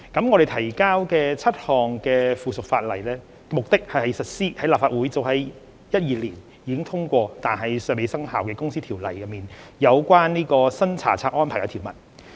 我們提交的7項附屬法例目的是實施立法會早於2012年已通過但尚未生效的《公司條例》中有關新查冊安排的條文。